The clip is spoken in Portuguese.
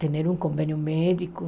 Ter um convênio médico.